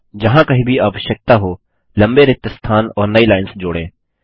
जहाँ कहीं भी आवश्यकता हो लम्बे रिक्त स्थान और नई लाइन्स जोड़ें